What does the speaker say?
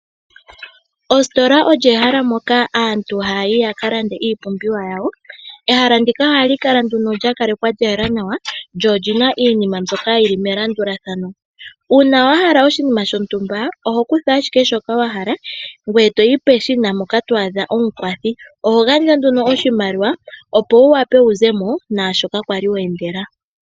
Ositola olyo ehala moka aantu ha yayi yakalande iipumbiwa yawo , ehala ndika ohali Kala nduno lyakalekwa lyayela nawa lyo olina iinima mbyoka yili melandulathano, una wahala oshinima shontumba oho kutha ashike shoka wahala ngweye toyi peshina poka twadha omukwathi ohongandja nduno oshimaliwa opo wuwape wuzemo nashoka kwali wendela.